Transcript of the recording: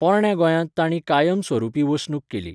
पोरण्या गोंयांत तांणी कायम स्वरुपी वसणूक केली.